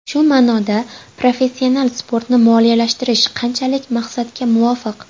Shu ma’noda professional sportni moliyalashtirish qanchalik maqsadga muvofiq?